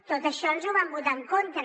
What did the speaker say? tot això ens ho van votar en contra